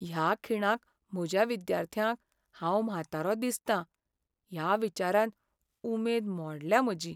ह्या खिणाक, म्हज्या विद्यार्थ्यांक हांव म्हातारो दिसत ह्या विचारान उमेद मोडल्या म्हजी.